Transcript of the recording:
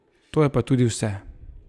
To je pa tudi vse.